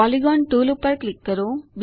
polygon tool પર click કરો